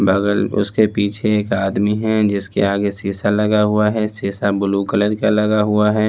बगल उसके पीछे एक आदमी है जिसके आगे सीसा लगा हुआ है सीसा ब्लू कलर का लगा हुआ है।